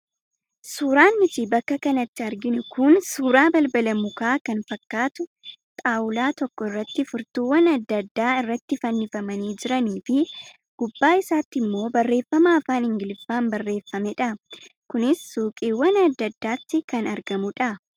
Suuraan nuti bakka kanatti arginu kun suuraa balbala mukaa kan fakkaatu xaawulaa tokko irratti furtuuwwan adda addaa irratti fannifamanii jiranii fi gubbaa isaatti immoo barreeffama afaan ingiliffaan barreeffamedha. Kunis suuqiiwwan adda addaatti kan argamudha.